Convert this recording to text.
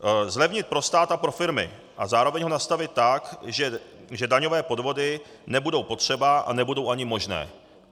Zlevnit pro stát a pro firmy a zároveň ho nastavit tak, že daňové podvody nebudou potřeba a nebudou ani možné.